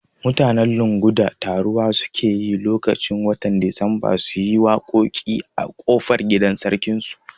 Mutanen Lunguda taruwa suke yi lokaci watan Disamba suyi ta waƙoƙi a kofar gidan sarkin su